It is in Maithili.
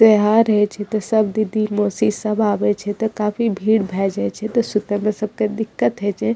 त्यौहार हेय छै ते सब दीदी मौसी सब आवे छै ते काफी भीड़ भेए जाए छै ते सुते में सबके दिक्कत हेय छै।